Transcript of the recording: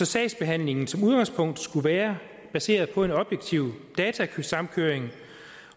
sagsbehandlingen som udgangspunkt skulle være baseret på en objektiv datasamkøring